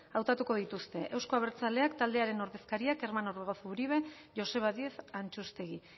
hautatu dituzte euzko abertzaleak taldearen ordezkariak kerman orbegozo uribe eta joseba díez antxustegi